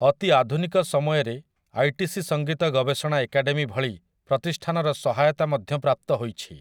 ଅତି ଆଧୁନିକ ସମୟରେ 'ଆଇଟିସି ସଙ୍ଗୀତ ଗବେଷଣା ଏକାଡେମୀ' ଭଳି ପ୍ରତିଷ୍ଠାନର ସହାୟତା ମଧ୍ୟ ପ୍ରାପ୍ତ ହୋଇଛି ।